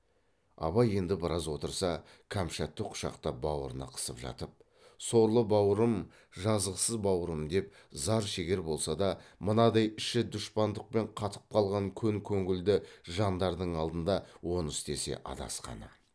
абай енді біраз отырса кәмшатты құшақтап баурына қысып жатып сорлы бауырым жазықсыз бауырым деп зар шегер болса да мынадай іші дұшпандықпен қатып қалған көн көнілді жандардың алдында оны істесе адасқаны